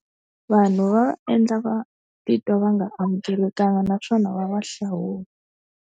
Vanhu va va endla va titwa va nga amukelekangi naswona va va hlawula.